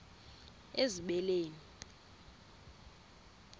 ezibeleni